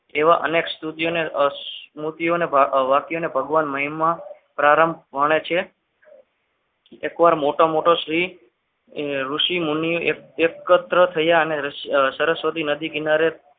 એવા અનેક સ્તુતિઓને સ્મૃતિઓને વાતોને ભગવાન પ્રારંભ ભણે છે એકવાર મોટો મોટો શ્રી ઋષિમુનિઓ એકત્ર થયા અને સરસ્વતી નદી કિનારે